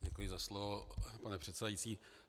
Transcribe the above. Děkuji za slovo, pane předsedající.